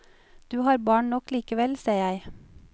Du har barn nok likevel, ser jeg.